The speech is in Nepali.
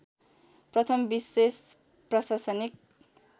प्रथम विशेष प्रशासनिक